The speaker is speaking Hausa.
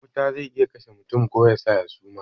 Jan wuta zai iya kashe mutum ko yasa ya suma